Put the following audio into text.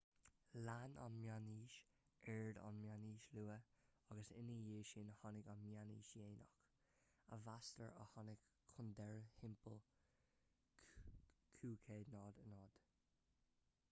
lean an mheánaois ard an mheánaois luath agus ina dhaidh sin tháinig an mheánaois dhéanach a mheastar a tháinig chun deiridh timpeall 1500